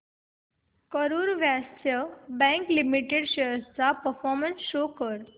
Karur Vysya bank limited shares चा performance show कर